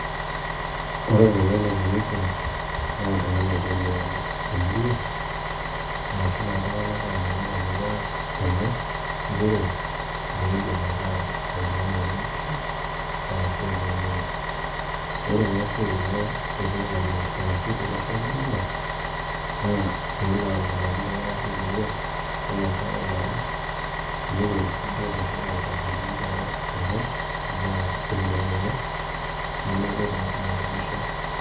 Ore olpayian le Kanisa na oltung'ani oyiolo emurua ara naa iltung'anak oomanya ina murua enye njere meedim ataa oltung'ani olejisho arashu oloo mongo ore naa eisia enye te sirkali arashu to losho le Kenya naa peelo aomonoki iltung'anak le murua ore engae ee are teneipoti naaduo meshomo aitasheki ina alo airo imbaa emurua enye nemelo naa alejisho